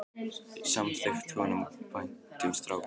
Samt þykir honum vænt um strákinn.